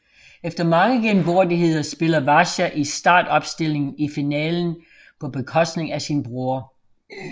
Efter mange genvordigheder spiller Vasja i startopstillingen i finalen på bekostning af sin bror